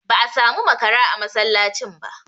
Ba a samu makara a masallacin ba.